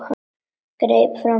Greip fram í fyrir henni.